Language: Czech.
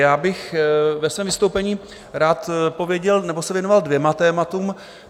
Já bych ve svém vystoupení rád pověděl nebo se věnoval dvěma tématům.